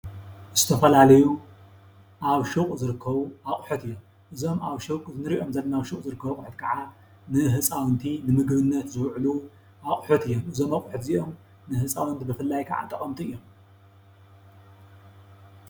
ዝተፈላለዩ ኣብ ሽቁ ዝርከቡ ኣቁሑት እዮም። እዞም እንርእዮም ዘለና ኣብ ሹቅ ዝርከቡ ኣቁሑት ከዓ ንህፃውንቲ ንምግብነት ዝውዕሉ ኣቁሑት እዩም። እዞም ኣቁሑት እዚኦም ንህፃውንቲ ብፍላይ ከዓ ጠቀምቲ እዮም።